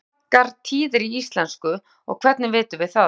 hvað eru margar tíðir í íslensku og hvernig vitum við það